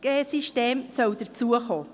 hinzukommen sollen.